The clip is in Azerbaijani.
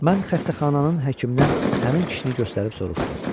Mən xəstəxananın həkiminə həmin kişini göstərib soruşdum.